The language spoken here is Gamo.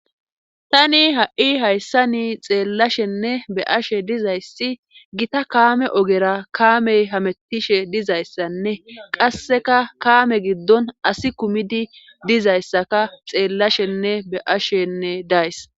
tani ha7i hayssa ni xeellashenne be ashe dizayssi gita kaame ogera kaamey hamettishe dizayssanne qasseka kaame giddon asi kumidi dizayssaka xeellashenne be7ashenne days